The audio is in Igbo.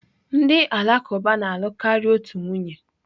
Ndị Alakụba na-alụ karịa otu nwunye.